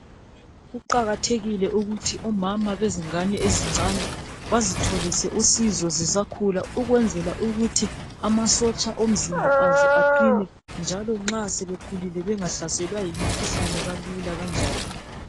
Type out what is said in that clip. Kuqakathekile ukuthi omama bezingane ezincane bazitholise usizo zisakhula ukwenzela ukuthi amasotsha omzimba azo aqine njalo nxa sebekhulile bengahlaselwa yimikhuhlane kalula kanjalo.